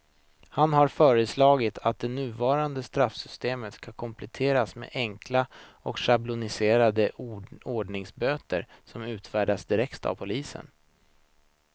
Han har föreslagit att det nuvarande straffsystemet ska kompletteras med enkla och schabloniserade ordningsböter som utfärdas direkt av polisen.